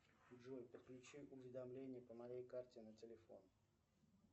джой подключи уведомления по моей карте на телефон